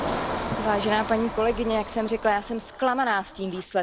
Vážená paní kolegyně, jak jsem řekla, já jsem zklamaná z toho výsledku.